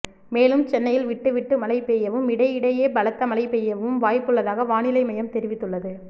மேலும் சென்னையில் விட்டு விட்டு மழை பெய்யவும் இடையிடையே பலத்த மழை பெய்யவும் வாய்ப்புள்ளதாகவானிலை மையம் தெரிவித்துள்ளது